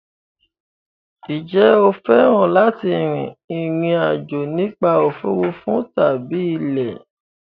Ǹjẹ́ o fẹ́ràn láti rin ìrìn àjò nípa òfuurufú tàbí ilẹ̀?